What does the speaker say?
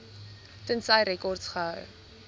tensy rekords gehou